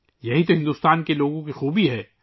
یہ ہندوستان کے لوگوں کی خوبی ہے